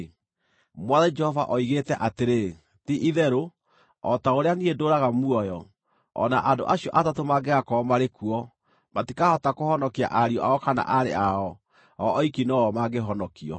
Mwathani Jehova oigĩte atĩrĩ, ti-itherũ o ta ũrĩa niĩ ndũũraga muoyo, o na andũ acio atatũ mangĩgakorwo marĩ kuo, matikahota kũhonokia ariũ ao kana aarĩ ao. O oiki no-o mangĩhonokio.